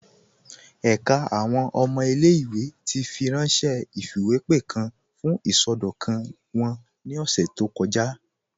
Ẹ̀ká àwọn ọmọ ilẹ̀-ìwé ti fírànṣẹ̀ ifiwepe kan fún isọdọkan wọn ni ọ̀ṣẹ̀ tó kọja.